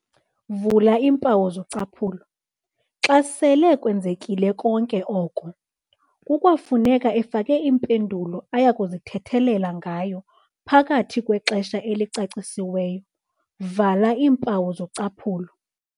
"Xa sele kwenzekile konke oko, kukwafuneka efake impendulo ayakuzithethelela ngayo phakathi kwexesha elicacisiwe."